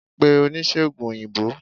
pè onisegùn oyinbo!